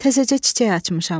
Təzəcə çiçək açmışam.